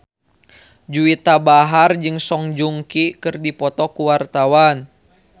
Juwita Bahar jeung Song Joong Ki keur dipoto ku wartawan